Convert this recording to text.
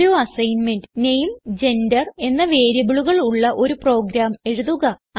ഒരു assignment name gender എന്ന വേരിയബിളുകൾ ഉള്ള ഒരു പ്രോഗ്രാം എഴുതുക